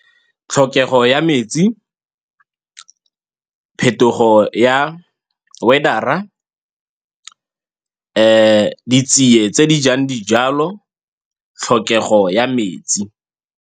Tlhokego ya metsi, phetogo ya weather-ra, ditsie tse di jang dijalo, tlhokego ya metsi.